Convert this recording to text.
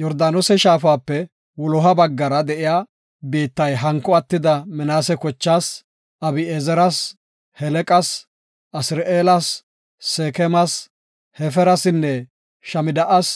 Yordaanose shaafape wuloha baggara de7iya biittay hanko attida Minaase kochaas, Abi7ezeras, Heleqas, Asir7eelas, Seekemas, Hefeerasinne Shamida7as